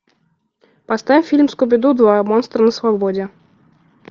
поставь фильм скуби ду два монстры на свободе